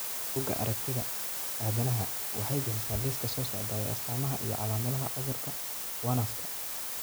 Bugga Aaragtiyaha Aadanaha waxay bixisaa liiska soo socda ee astamaha iyo calaamadaha cudurka Werner's ka.